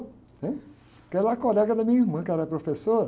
né? Porque ela era colega da minha irmã, que era professora.